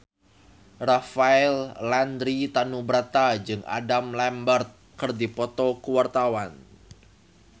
Rafael Landry Tanubrata jeung Adam Lambert keur dipoto ku wartawan